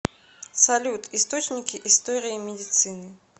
салют источники история медицины